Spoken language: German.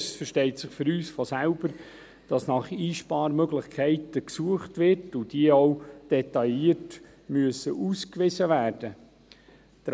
Es versteht sich für uns von selbst, dass nach Einsparmöglichkeiten gesucht wird und diese auch detailliert ausgewiesen werden müssen.